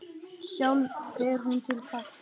Sjálf fer hún til pabba.